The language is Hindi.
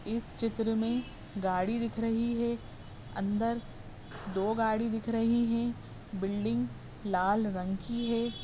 इस चित्र में गाड़ी दिख रही है। अंदर दो गाड़ी दिख रही है। बिल्डिंग लाल रंग की है।